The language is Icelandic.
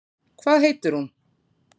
Hvað heitir hún?